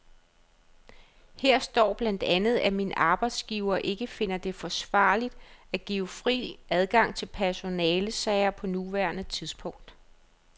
Her står blandt andet, at min arbejdsgiver ikke finder det forsvarligt at give fri adgang til personalesager på nuværende tidspunkt.